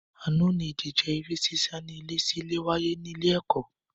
Àná ni ìdíje eré sísá ní ilé sí ilé wáyé ní ilé ẹ̀kọ́